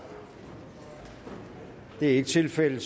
det er ikke tilfældet